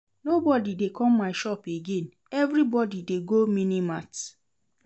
Nobody dey come my shop again, everybody dey go mini mart